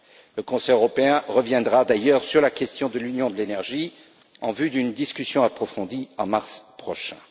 Le Conseil européen reviendra d'ailleurs sur la question de l'Union de l'énergie en vue d'une discussion approfondie en mars prochain.